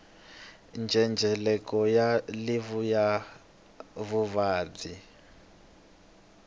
ndzhendzheleko wa livhi ya vuvabyi